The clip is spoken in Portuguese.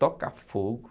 Tocar fogo.